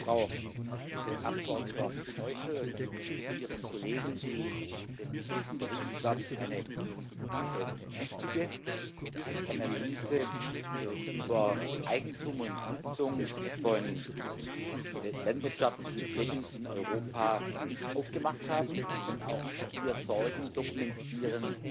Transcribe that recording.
Ich danke der Frau Abgeordneten Noichl und ihren Kollegen, die mit diesem Bericht, glaube ich, eine wichtige Analyse über Eigentum und Nutzung von landwirtschaftlichen Flächen in Europa vorgenommen haben und auch hier Sorgen dokumentieren,